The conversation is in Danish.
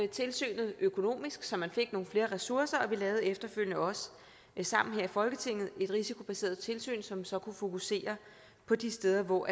tilsynet økonomisk så man fik nogle flere ressourcer og vi lavede efterfølgende også sammen her i folketinget et risikobaseret tilsyn som så kunne fokusere på de steder hvor